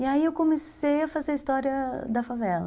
E aí eu comecei a fazer a história da favela.